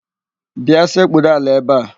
Bịa sekpuru ala ebe a!